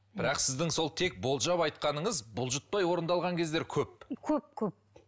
бірақ сіздің сол тек болжап айтқаныңыз бұлжытпай орындалған кездер көп көп көп